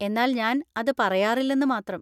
എന്നാൽ ഞാൻ അത് പറയാറില്ലെന്ന് മാത്രം.